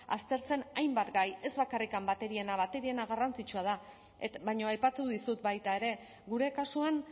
aztertzen hainbat gai ez bakarrik bateriena bateriena garrantzitsua da baina aipatu dizut baita ere gure kasuan